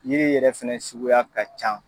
Yiri yɛrɛ fɛnɛ suguya ka ca